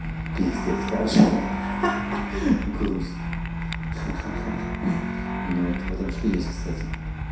пиздец короче ха-ха груз ну в этом что-то есть кстати